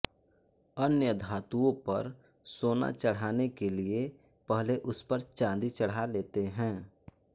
अन्य धातुओं पर सोना चढ़ाने के लिए पहले उसपर चाँदी चढ़ा लेते हैं